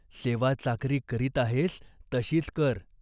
सेवा चाकरी करीत आहेस तशीच कर.